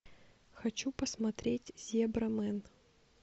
хочу посмотреть зебрамен